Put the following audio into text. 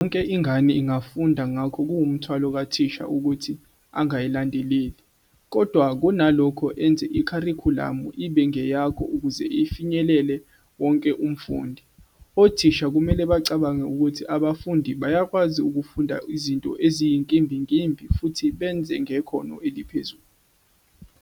Yonke ingane ingafunda ngakho kuwumthwalo kathisha ukuthi "angayilandeleli", kodwa kunalokho enze ikharikhulamu ibe ngeyakho ukuze ifinyelele wonke umfundi. "Othisha kumele bacabange ukuthi abafundi bayakwazi ukufunda izinto eziyinkimbinkimbi futhi benze ngekhono eliphezulu.